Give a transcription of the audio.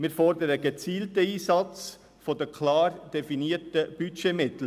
Wir fordern einen gezielten Einsatz der klar definierten Budgetmittel.